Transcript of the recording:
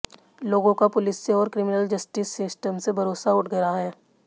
लोगों का पुलिस से और क्रिमिनल जस्टिस सिस्टम से भरोसा उठ रहा है